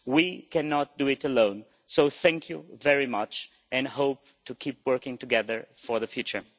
We cannot do it alone, so thank you very much and I hope to keep working together for the future.